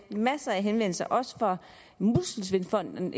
masser af henvendelser også fra muskelsvindfonden